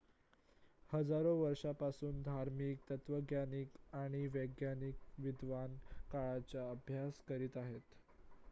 हजारो वर्षांपासून धार्मिक तत्वज्ञानीय आणि वैज्ञानिक विद्वान काळाचा अभ्यास करीत आहेत